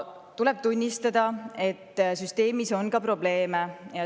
Tuleb tunnistada, et süsteemis on ka probleeme.